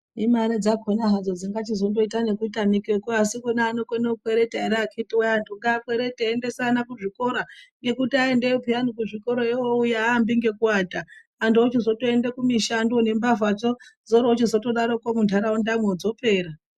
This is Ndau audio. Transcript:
Imare dzakhona hadzo dzingachizondoita nekutamikeko asi kune anokone kukwereta ere akhiti wee antu ngaakwerete, eiendesa ana kuzvikora. Ngekuti aendeyo pheyani kuzvikorayo oouya aambi ngekuata, antu ochizotoenda kumishando. Nembavhadzo dzoroochizotodaroko muntaraundamwo dzopera.